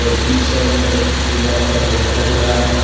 इस साइड में एक दीवाल पर पोस्टर लगा है।